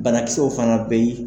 Banakisɛw fana be yen